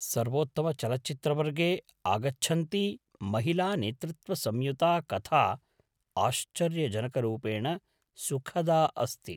सर्वोत्तमचलचित्रवर्गे आगच्छन्ती महिलानेतृत्वसंयुता कथा आश्चर्यजनकरूपेण सुखदा अस्ति।